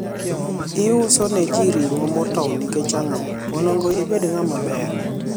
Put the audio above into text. iusoneji ring'o motow nikech ang'o, onego ibed ng'at maber?